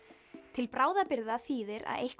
til bráðabirgða þýðir að eitthvað